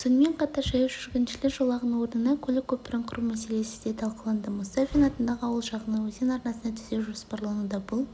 сонымен қатар жаяу жүргіншілер жолағының орнына көлік көпірін құру мәселесі де талқыланды мұстафин атындағы ауыл жағынан өзен арнасын түзеу жоспарлануда бұл